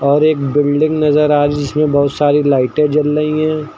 और एक बिल्डिंग नजर आ रही जिसमे बहुत सारी लाइटें जल रही हैं।